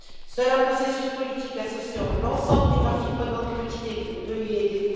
Seul un processus politique associant l'ensemble des parties prenantes peut y aider.